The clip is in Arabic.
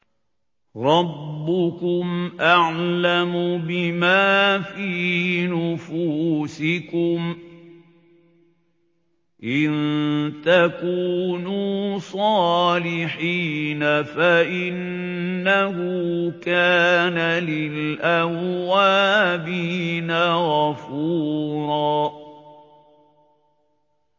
رَّبُّكُمْ أَعْلَمُ بِمَا فِي نُفُوسِكُمْ ۚ إِن تَكُونُوا صَالِحِينَ فَإِنَّهُ كَانَ لِلْأَوَّابِينَ غَفُورًا